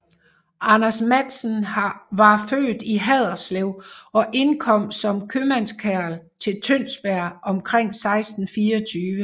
Anders Matsen var født i Haderslev og indkom som købmandskarl til Tønsberg omkring 1624